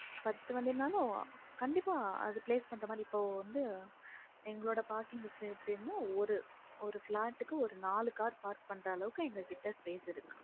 பத்து வண்டினாலும் கண்டிப்பா அது place பண்ற மாதிரி இப்ப வந்து எங்களோட parking safe time மும் ஒரு ஒரு flat க்கு ஒரு நாலு car park பண்ற அளவுக்கு எங்க கிட்ட space இருக்கு